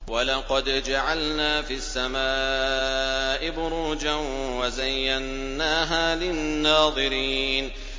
وَلَقَدْ جَعَلْنَا فِي السَّمَاءِ بُرُوجًا وَزَيَّنَّاهَا لِلنَّاظِرِينَ